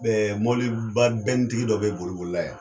mɔbiliba bɛnitigi dɔ bɛ boli boli la yan.